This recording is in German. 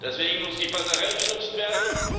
Deswegen muss die Passerelle genutzt werden.